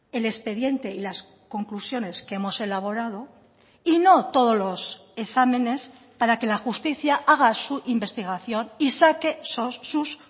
el expediente y las conclusiones que hemos elaborado y no todos los exámenes para que la justicia haga su investigación y saque sus